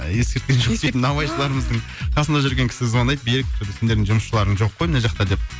ескерткен жоқ наубайшыларымыздың қасында жүрген кісі звондайды берік сендердің жұмысшыларың жоқ қой мына жақта деп